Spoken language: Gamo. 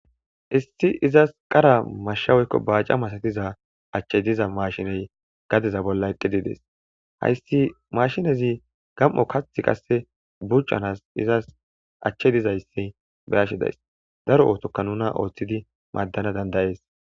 issi izas qara mashsha woykko baaca masatiza achchey diza mashiney gadeza bolla eqqidides hayssi mashinezi gam7o kathi qasse bucanas izas achche dizayssi beashedays daro ootokka nuna ooththidi maaddana dandayees